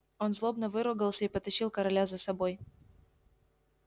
он злобно выругался и потащил короля за собой